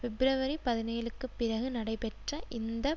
பிப்ரவரிபதினேழுக்கு பிறகு நடைபெற்ற இந்த